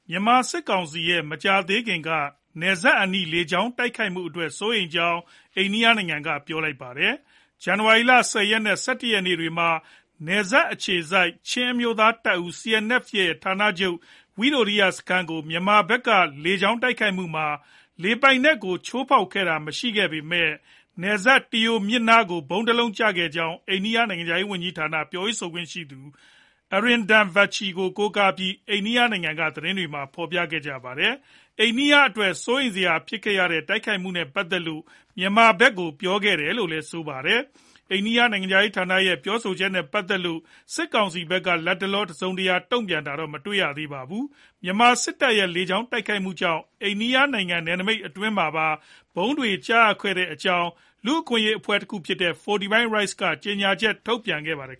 မြန်မာစစ်ကောင်စီရဲ့ မကြာသေးခင်က နယ်စပ်အနီး လေကြောင်းတိုက်ခိုက်မှုအတွက် စိုးရိမ်ကြောင်း အိန္ဒိယနိုင်ငံက ပြောလိုက်ပါတယ်။ ဇန်နဝါရီလ ၁၀ ရက်နဲ့ ၁၁ ရက်နေ့တွေမှာ နယ်စပ်အခြေစိုက် ချင်းအမျိုးသားတပ်ဦး CNF ဌာနချုပ် ဝိတိုရိယစခန်းကို မြန်မာဖက်က လေကြောင်းတိုက်ခိုက်မှုမှာ လေပိုင်နက်ကို ချိုးဖောက်တာ မရှိခဲ့ပေမဲ့ နယ်စပ် Tiau မြစ်ကမ်းနားကို ဗုံးတလုံးကျရောက်ခဲ့ကြောင်း အိန္ဒိယနိုင်ငံခြားရေးဌာန ပြောရေးဆိုခွင့်ရှိသူ Arindam Bagchi ကို ကိုးကားပြီး အိန္ဒိယနိုင်ငံက သတင်းတွေက ဖော်ပြခဲ့ကြတာပါ။ အိန္ဒိယအတွက် စိုးရိမ်စရာဖြစ်ခဲ့ရတဲ့ တိုက်ခိုက်မှုနဲ့ ပတ်သက်လို့ မြန်မာဖက်ကို ပြောခဲ့တယ်လို့လည်း ဆိုပါတယ်။ အိန္ဒိယနိုင်ငံခြားရေးဌာနရဲ့ ပြောဆိုချက်နဲ့ ပတ်သက်လို့ စစ်ကောင်စီဖက်က လတ်တလော တစုံတရာ တုံ့ပြန်တာတော့ မတွေ့ရသေးပါဘူး။ မြန်မာစစ်တပ်ရဲ့ လေကြောင်းတိုက်ခိုက်မှုကြောင့် အိန္ဒိယနိုင်ငံနယ်နမိတ်အတွင်းမှာပါ ဗုံးတွေကျခဲ့တဲ့အကြောင်း လူ့အခွင့်အရေး အဖွဲ့တခုဖြစ်တဲ့ Fortify Rights အဖွဲ့ကလည်း ကြေညာချက် ထုတ်ပြန်ခဲ့ပါတယ်